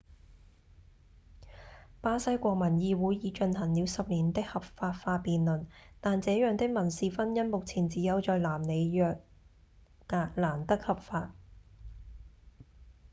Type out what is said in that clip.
巴西國民議會已進行了10年的合法化辯論但這樣的民事婚姻目前只有在南里約格蘭德合法